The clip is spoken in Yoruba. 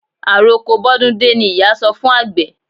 Àroko bọ́dún dé ni ìyá sọ fún àgbẹ̀.